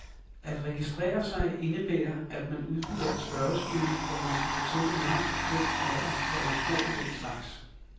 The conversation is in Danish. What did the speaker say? At registrere sig indebærer, at man udfylder et spørgeskema, hvor man skal fortælle navn, køn, alder, hvor man bor og den slags.